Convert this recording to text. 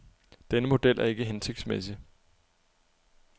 Denne model er ikke hensigtsmæssig.